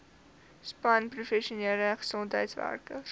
span professionele gesondheidswerkers